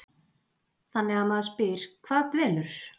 Þannig að maður spyr, hvað dvelur?